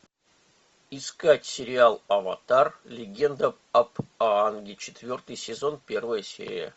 искать сериал аватар легенда об аанге четвертый сезон первая серия